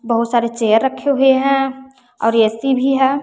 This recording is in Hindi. बहुत सारे चेयर रखे हुए हैं और ए_सी भी है।